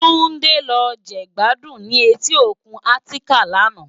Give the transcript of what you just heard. Tunde lò je gbàdún ni éti ókún Atikán làná